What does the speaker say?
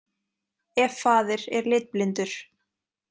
Ef faðir er litblindur.